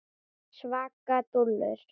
Svaka dúllur!